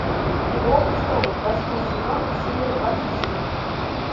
игра престолов восьмой сезон серия двадцать семь